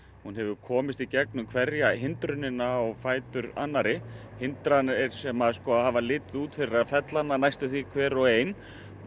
hún hefur komist í gegnum hverja hindrunina á fætur annarri hindranir sem hafa litið út fyrir að fella hana næstum hver og ein